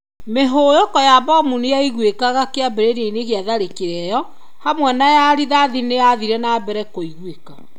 Mihũyũko ya mbomu nĩ yaiguĩkaga kĩambĩrĩria-inĩ kĩa tharĩkĩro ĩyo. Hamwe na ya rithati nĩ ethiire na mbere kũiguĩka.